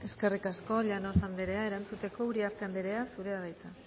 eskerrik asko llanos anderea erantzuteko uriarte andrea zurea da hitza